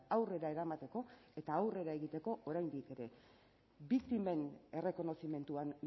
aurrera eramateko eta aurrera egiteko oraindik ere biktimen errekonozimenduan